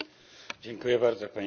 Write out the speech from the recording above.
Pani Przewodnicząca!